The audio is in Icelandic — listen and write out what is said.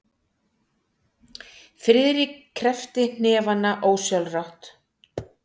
Friðrik kreppti hnefana ósjálfrátt.